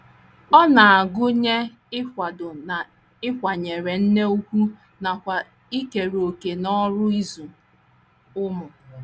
Ọ na - agụnye ịkwado na ịkwanyere nne ùgwù nakwa ikere òkè n’ọrụ ịzụ ụmụ.